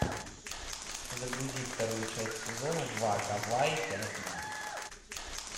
загрузи вторую часть сезона два гавайи пять ноль